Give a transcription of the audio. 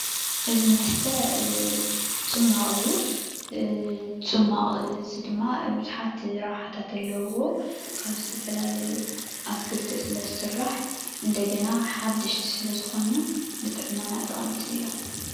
እዚ መስተ ፅማቕ እዩ:: እዚ ፅቕ ድማ ቡዙሓት ረብሓታት ኣለዉዎ፡፡ ካብ ዝተፈላለዩ ኣትክልቲ ስለ ዝስራሕ እንደገና ሓደሽቲ ስለ ዝኮኑ ንጥዕናና ጠቀምቲ እዮም፡፡